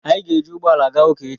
anyị ga-ejị ụgbọ ala gawa ụka echi